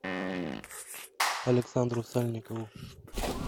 александру сальникову